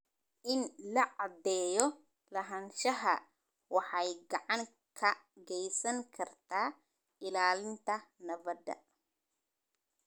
In la caddeeyo lahaanshaha waxay gacan ka geysan kartaa ilaalinta nabadda.